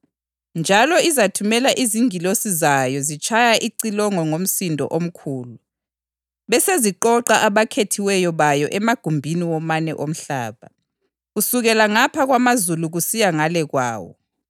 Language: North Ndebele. Njalo izathumela izingilosi zayo zitshaya icilongo ngomsindo omkhulu, beseziqoqa abakhethiweyo bayo emagumbini womane omhlaba, kusukela ngapha kwamazulu kusiya ngale kwawo.